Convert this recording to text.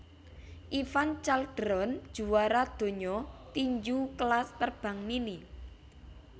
Ivan Calderon juwara donya tinju kelas terbang mini